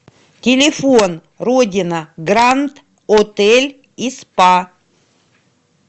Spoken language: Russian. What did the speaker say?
телефон родина гранд отель и спа